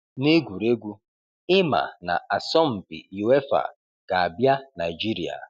Negwuregwu: Ị ma na asọmpi UEFA ga-abịa Naijiria